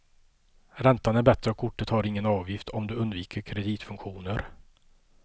Räntan är bättre och kortet har ingen avgift om du undviker kreditfunktioner.